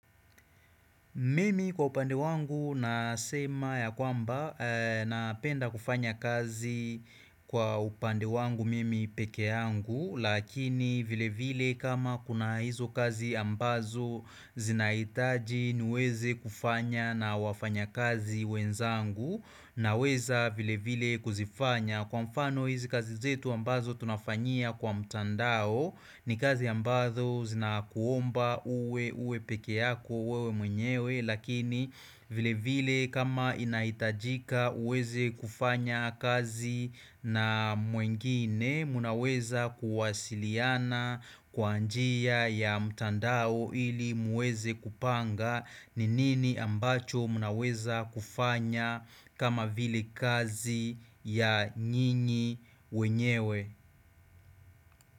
Mimi kwa upande wangu nasema ya kwamba napenda kufanya kazi kwa upande wangu mimi pekee yangu Lakini vile vile kama kuna hizo kazi ambazo zinahitaji niweze kufanya na wafanya kazi wenzangu naweza vile vile kuzifanya Kwa mfano hizi kazi zetu ambazo tunafanyia kwa mtandao ni kazi ambazo zinakuomba uwe pekee yako wewe mwenyewe lakini vile vile kama inahitajika uweze kufanya kazi na mwengine mnaweza kuwasiliana kwa njia ya mtandao ili muweze kupanga ni nini ambacho mnaweza kufanya kama vile kazi ya nyinyi wenyewe.